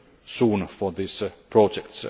soon for these projects.